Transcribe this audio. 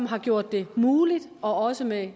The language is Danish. har gjort det muligt også med